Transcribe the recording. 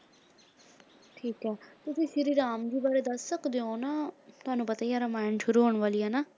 ਠੀਕ ਹੈ ਤੁਸੀਂ ਸ਼੍ਰੀ ਰਾਮ ਜੀ ਬਾਰੇ ਦੱਸ ਸਕਦੇ ਹੋ ਨਾ ਤੁਹਾਨੂੰ ਪਤਾ ਹੀ ਹੈ ਰਮਾਇਣ ਸ਼ੁਰੂ ਹੋਤ ਵਾਲੀ ਹੈ ਨਾ